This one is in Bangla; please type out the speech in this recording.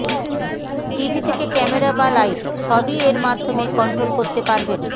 টিভি থেকে ক্যামেরা বা লাইট সবই এর মাধ্যমে কন্ট্রোল করতে পারবেন